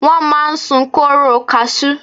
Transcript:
Wọ́n máa ń sun kóóró kasú.